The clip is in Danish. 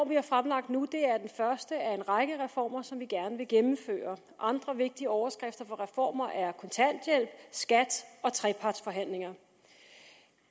vi har fremlagt nu er den første af en række reformer som vi gerne vil gennemføre andre vigtige overskrifter for reformer er kontanthjælp skat og trepartsforhandlinger